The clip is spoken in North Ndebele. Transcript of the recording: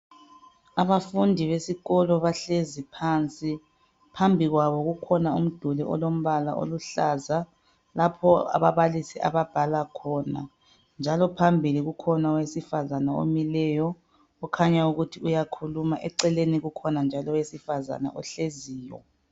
Abafundi besikolo bahlezi phansi phambi kwabo kukhona umduli olombala oluhlaza lapho ababalisi ababhala khona njalo phambili kukhona owesifazane omileyo okhanya ukuthi uyakhuluma eceleni kukhona njalo owesifazane ohleziyo